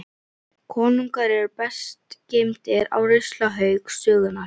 Konungar eru best geymdir á ruslahaug sögunnar.